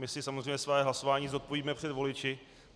My si samozřejmě své hlasování zodpovíme před voliči.